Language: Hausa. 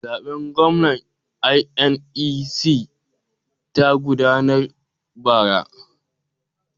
Zaben gwamna INEC ta gudanar bara.